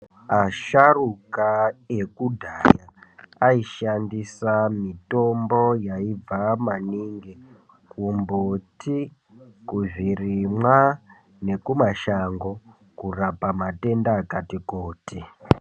Asharuka ekudhaya aishandisa mitombo yaibva maningi kumbuti, kuzvirimwa nekumashango kurapa matenda akati kuti.